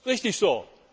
Richtig so!